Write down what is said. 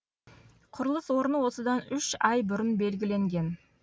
құрылыс орны осыдан үш ай бұрын белгіленген